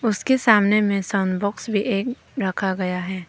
उसके सामने में साउंड बॉक्स भी एक रखा गया है।